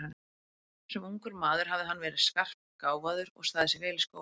Sem ungur maður hafði hann verið skarpgáfaður og staðið sig vel í skóla.